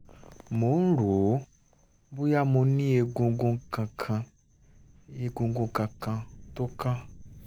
mo ń rò ó bóyá mo ní egungun kankan egungun kankan tó kán